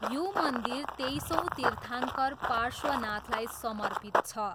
यो मन्दिर तेइसौँ तीर्थाङ्कर पार्श्वनाथलाई समर्पित छ।